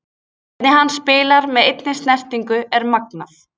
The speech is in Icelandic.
Hvernig hann spilar með einni snertingu er magnað.